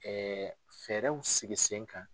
fɛɛrɛw sigi sen kan.